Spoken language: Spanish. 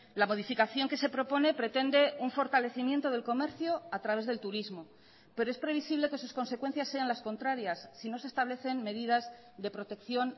la modificación que se propone pretende un fortalecimiento del comercio a través del turismo pero es previsible que sus consecuencias sean las contrarias si no se establecen medidas de protección